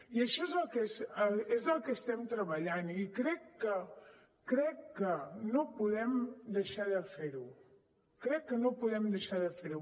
i això és el que estem treballant i crec que no podem deixar de fer ho crec que no podem deixar de fer ho